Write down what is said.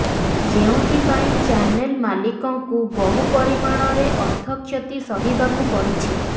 ଯେଉଁଥିପାଇଁ ଚ୍ୟାନେଲ ମାଲିକଙ୍କୁ ବହୁପରିମାଣରେ ଅର୍ଥ କ୍ଷତି ସହିବାକୁ ପଡିଛି